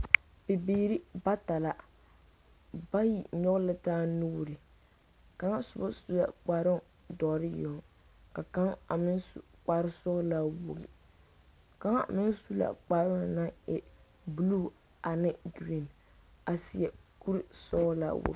Bibiiri bata la bayi nyɔge la taa nuure kaŋ soba su la kparoo dɔre soŋ ka kaŋ a meŋ su kpar sɔgelaa wogi kaŋ meŋ su la kparoo naŋ e buluu ane gereŋ a seɛ kuri sɔgelaa wogi